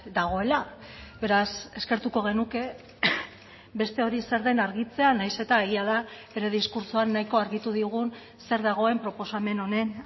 dagoela beraz eskertuko genuke beste hori zer den argitzea nahiz eta egia da bere diskurtsoan nahiko argitu digun zer dagoen proposamen honen